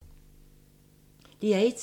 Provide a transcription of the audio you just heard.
DR1